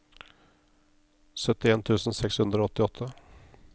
syttien tusen seks hundre og åttiåtte